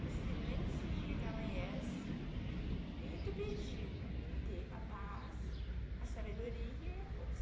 No silêncio do dia que amanhece, venho te pedir ter a paz, a sabedoria e a força.